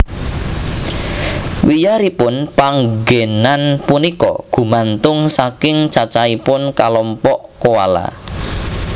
Wiyaripun panggénan punika gumantung saking cacahipun kalompok koala